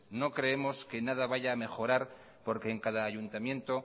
no creemos que en nada vaya a mejorar porque en cada ayuntamiento